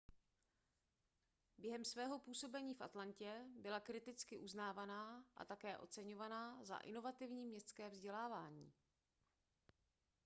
během svého působení v atlantě byla kriticky uznávaná a také oceňovaná za inovativní městské vzdělávání